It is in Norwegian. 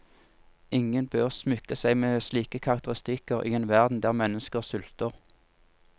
Ingen bør smykke seg med slike karakteristikker i en verden der mennesker sulter.